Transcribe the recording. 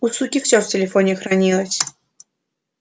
у суки всё в телефоне хранилось